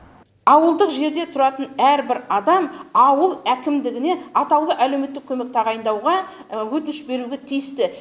ауылдық жерде тұратын әрбір адам ауыл әкімдігіне атаулы әлеуметтік көмек тағайындауға өтініш беруге тиісті